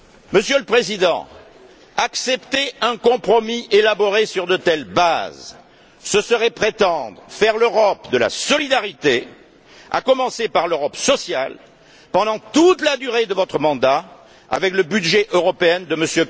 Monsieur le Président, accepter un compromis élaboré sur de telles bases, ce serait prétendre faire l'Europe de la solidarité, à commencer par l'Europe sociale, pendant toute la durée de votre mandat, avec le budget européen de M.